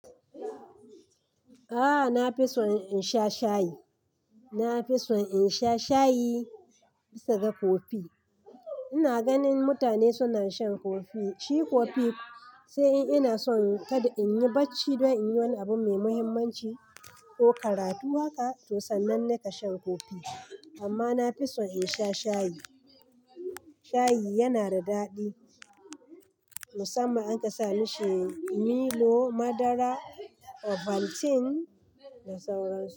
A'a na fi son in sha shayi. Na fi son in sha shayi bisa ga kofi. Ina ganin mutane suna shan kofi shi kofi sai in ina son kada in yi bacci dai in yi wani abu mai muhimmanci ko karatu haka to sannan ne ka shan kofi. Amma na fi son in sha shayi. Shayi yana da daɗi musamman an ka sa mashi milo, madara, ovaltine da sauransu.